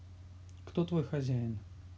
кто твой хозяин